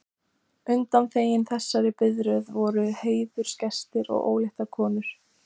Undanþegnir þessari biðröð voru heiðursgestir og óléttar konur.